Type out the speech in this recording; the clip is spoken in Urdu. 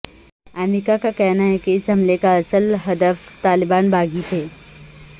امریکہ کا کہنا ہے کہ اس حملے کا اصل ہدف طالبان باغی تھے